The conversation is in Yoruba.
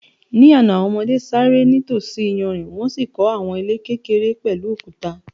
Ní àná, àwọn ọmọdé ṣeré nítòsí iyanrìn wọ́n sì kọ́ àwọn ilé kékeré pẹ̀lú òkúta.